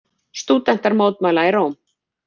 Stúdentar mótmæla í Róm